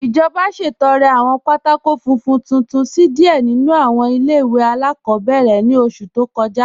Ijọba ṣẹ̀tọ̀rẹ̀ awọn pátákò fúnfún tuntun sí díẹ̀ nínu awọn ilẹ̀-iwe aláàkọ̀bẹ̀rẹ̀ ni ọṣù tó kọja.